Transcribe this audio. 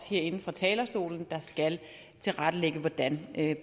herinde fra talerstolen skal tilrettelægge hvordan